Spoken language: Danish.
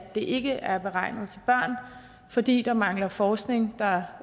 ikke er beregnet til børn fordi der mangler forskning der